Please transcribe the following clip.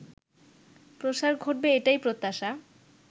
প্রসার ঘটবে এটাই প্রত্যাশা